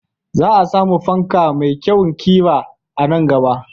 Za a samu fanka mai kyawun ƙira a nan gaba.